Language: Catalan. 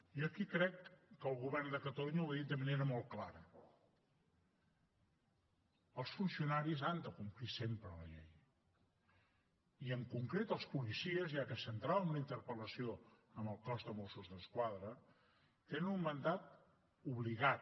jo aquí crec que el govern de catalunya ho ha dit de manera molt clara els funcionaris han de complir sempre la llei i en concret els policies ja que centràvem la interpel·lació en el cos de mossos d’esquadra tenen un mandat obligat